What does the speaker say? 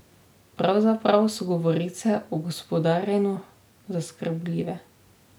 Pravzaprav so govorice o gospodarjenju zaskrbljive.